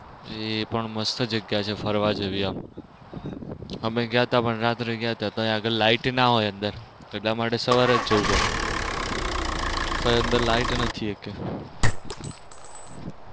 એ પણ મસ્ત જગ્યા છે ફરવા જેવી એમ અમે ગયા તા રાત્રે ગયા તા ત્યાં આગળ light ના હોય અંદર એટલા માટે સવારે જ જવું પડે ત્યાં light નથી એકેય.